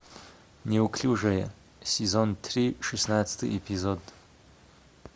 неуклюжая сезон три шестнадцатый эпизод